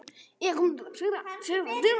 Þær systur hlæja.